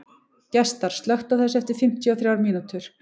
Gestar, slökktu á þessu eftir fimmtíu og þrjár mínútur.